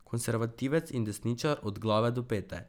Konservativec in desničar od glave do pete.